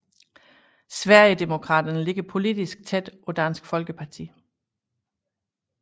Sverigedemokraterne ligger politisk tæt på Dansk Folkeparti